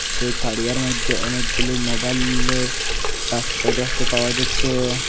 সেই তারিয়ার মধ্যে অনেকগুলো মোবাইলের বাসকো দেখতে পাওয়া যাচ্ছে।